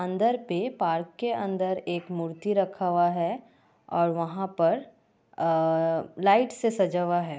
अंदर पे पार्क के अंदर एक मूर्ति रखा हुआ है और वहाँ पर अ लाइट से सजा हुआ है।